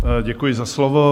Děkuji za slovo.